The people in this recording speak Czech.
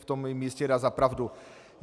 V tom mi jistě dá za pravdu.